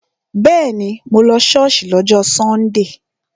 Bẹ́ẹ̀ni, mo lọ ṣọ́ọ̀ṣì lọ́jọ́ sọ́ndè